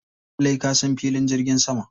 Lallai ka san filin jirgin sama.